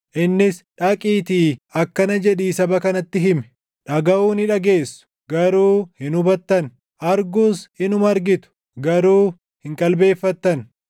Innis, “Dhaqiitii akkana jedhii saba kanatti himi: “ ‘Dhagaʼuu ni dhageessu; garuu hin hubattan; arguus inuma argitu; garuu hin qalbeeffattan!’